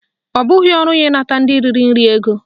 Ọ bụghị ọrụ ya ịnata ndị riri nri ego